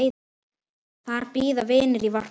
Þar bíða vinir í varpa.